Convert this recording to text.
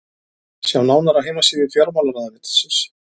sjá nánar á heimasíðu fjármálaráðuneytisins